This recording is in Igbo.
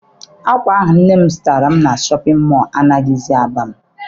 Akwa ahụ nne m zụtara m na Shọpịn mọọ anaghizi aba m.